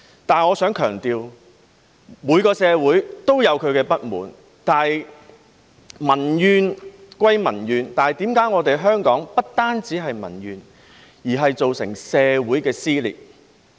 但是，我想強調每個社會也有其不滿，但民怨歸民怨，為何香港不單有民怨，更造成社會撕裂？